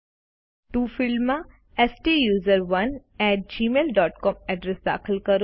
to ફિલ્ડમાં સ્ટુસરોને at Gmail dot com address દાખલ કરો